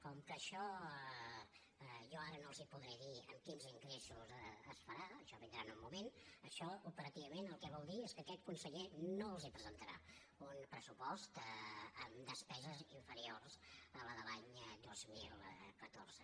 com que això jo ara no els ho podré dir amb quins ingressos es farà això vindrà en el moment això operativament el que vol dir és que aquest conseller no els presentarà un pressupost amb despeses inferiors a la de l’any dos mil catorze